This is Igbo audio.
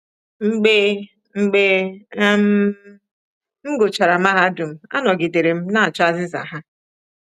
Mgbe Mgbe um m gụchara mahadum, anọgidere m na-achọ azịza ha.